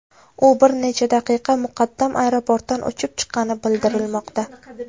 U bir necha daqiqa muqaddam aeroportdan uchib chiqqani bildirilmoqda.